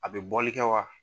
A bɛ bɔli kɛ wa?